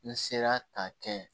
N sera k'a kɛ